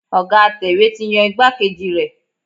Ọ̀ga atẹ̀wé ti yan igbákejì rẹ̀.